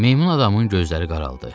Meymun adamın gözləri qaraldı.